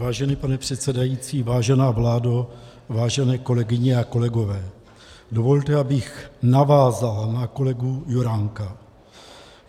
Vážený pane předsedající, vážená vládo, vážené kolegyně a kolegové, dovolte, abych navázal na kolegu Juránka.